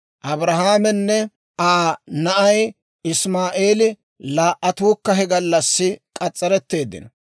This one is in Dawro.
Abrahaamenne Aa na'ay Isimaa'eeli laa"attuukka he gallassi k'as's'aretteeddino.